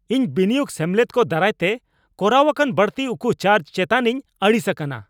ᱤᱧ ᱵᱤᱱᱤᱭᱳᱜ ᱥᱮᱢᱞᱮᱫ ᱠᱚ ᱫᱟᱨᱟᱭᱛᱮ ᱠᱚᱨᱟᱣ ᱟᱠᱟᱱ ᱵᱟᱹᱲᱛᱤ ᱩᱠᱩ ᱪᱟᱨᱡ ᱪᱮᱛᱟᱱᱤᱧ ᱟᱹᱲᱤᱥ ᱟᱠᱟᱱᱟ ᱾